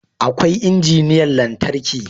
Akwai injiniyan lantarki